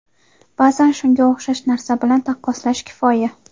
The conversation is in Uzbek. Ba’zan shunga o‘xshash narsa bilan taqqoslash kifoya.